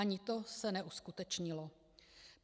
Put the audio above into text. Ani to se neuskutečnilo.